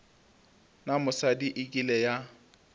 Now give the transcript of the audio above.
na mosadi e kile ya